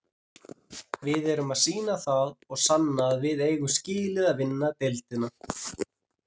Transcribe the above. Við erum að sýna það og sanna að við eigum skilið að vinna deildina.